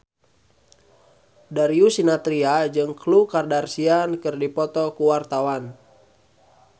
Darius Sinathrya jeung Khloe Kardashian keur dipoto ku wartawan